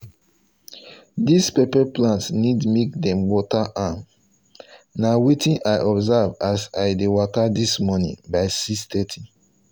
this pepper plant need make them water am na wetin i observe as i dey waka this morning by 6:30